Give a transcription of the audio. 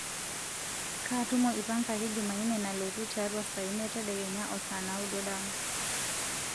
kaa tumo ipangaki jumaine nalotu tiatua saa imiet tedekenya o saa naudo dama